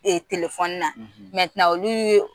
na olu ye.